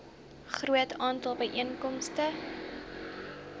groot aantal byeenkomste